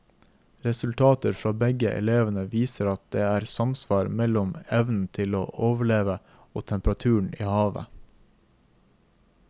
Resultater fra begge elvene viser at det er samsvar mellom evnen til å overleve og temperaturen i havet.